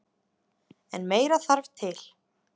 En meira þarf til